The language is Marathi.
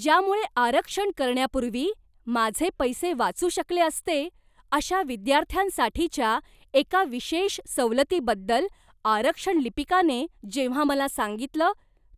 ज्यामुळे आरक्षण करण्यापूर्वी माझे पैसे वाचू शकले असते, अशा विद्यार्थ्यांसाठीच्या एका विशेष सवलतीबद्दल आरक्षण लिपिकाने जेव्हा मला सांगितलं,